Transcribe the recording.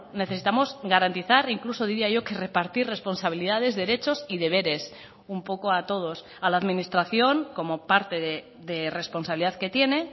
necesitamos garantizar incluso diría yo que repartir responsabilidades derechos y deberes un poco a todos a la administración como parte de responsabilidad que tiene